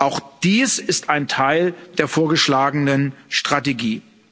Auch dies ist ein Teil der vorgeschlagenen Strategie.